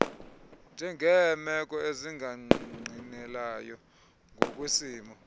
njengeemeko ezingangqinelayo ngokwesimo